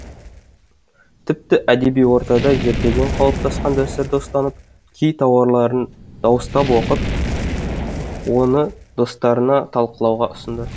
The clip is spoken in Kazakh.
тіпті әдеби ортада ертеден қалыптасқан дәстүрді ұстанып кей тарауларын дауыстап оқып оны достарына талқылауға ұсынды